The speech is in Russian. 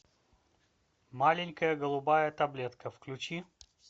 маленькая голубая таблетка включи